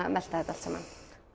að melta þetta allt saman